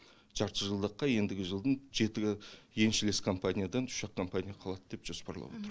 жарты жылдыққа ендігі жылдың жеті еншілес компаниядан үш ақ компания қалады деп жоспарлап отырмыз